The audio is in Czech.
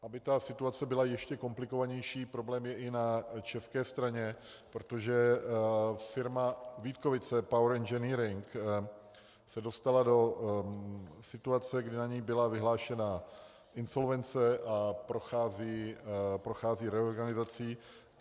Aby ta situace byla ještě komplikovanější, problém je i na české straně, protože firma Vítkovice Power Engineering se dostala do situace, kdy na ni byla vyhlášená insolvence a prochází reorganizací.